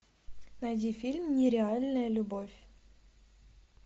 найди фильм нереальная любовь